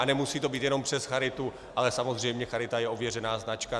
A nemusí to být jenom přes charitu, ale samozřejmě charita je ověřená značka.